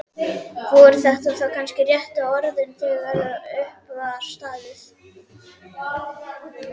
Voru þetta þá kannski réttu orðin þegar upp var staðið?